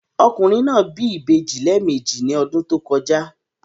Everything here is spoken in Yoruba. Ọkùnrin náà bí ìbejì lẹ́ẹ̀mejì ní ọdún tó kọjá.